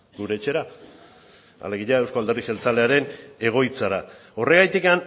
gure etxera alegia euzko alderdi jeltzalearen egoitzara horregatik